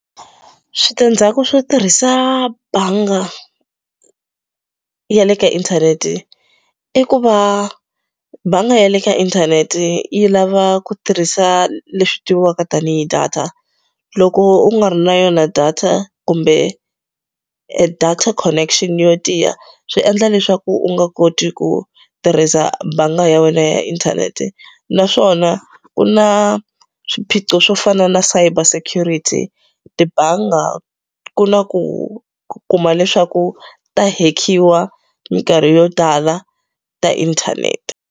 Switandzhaku swo tirhisa bangi ya le ka inthanete i ku va banga ya le ka inthanete yi lava ku tirhisa leswi tiviwaka tanihi data loko u nga ri na yona data kumbe data connection yo tiya swi endla leswaku u nga koti ku tirhisa bangi ya wena ya inthanete naswona ku na swiphiqo swo fana na cyber security tibangi ku na ku kuma leswaku ta hekiwa minkarhi yo tala ta inthanete.